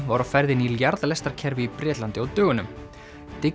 var á ferðinni í í Bretlandi á dögunum